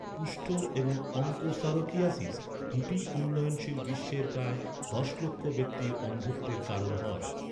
কুষ্ঠ এবং অঙ্কোসারকিয়াসিস, দুটিই উন্নয়নশীল বিশ্বের প্রায় দশ লক্ষ ব্যক্তির অন্ধত্বের কারণ হয়।